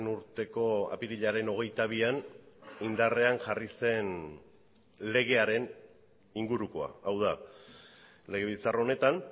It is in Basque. urteko apirilaren hogeita bian indarrean jarri zen legearen ingurukoa hau da legebiltzar honetan